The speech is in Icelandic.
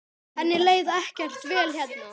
Henni leið ekkert vel hérna.